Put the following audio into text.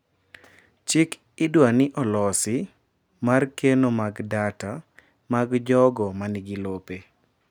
Chik idwa ni olosi mar keno mag data mag jogo manigi lope.